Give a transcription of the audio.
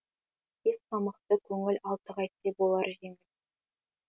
бес қамықты көңіл алты қайтсе болар жеңіл